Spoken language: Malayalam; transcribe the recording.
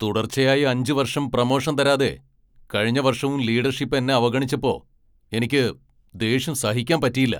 തുടർച്ചയായി അഞ്ച് വർഷം പ്രമോഷൻ തരാതെ കഴിഞ്ഞ വർഷവും ലീഡർഷിപ്പ് എന്നെ അവഗണിച്ചപ്പോ എനിക്ക് ദേഷ്യം സഹിക്കാൻ പറ്റിയില്ല.